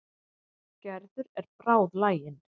Gerður er bráðlagin.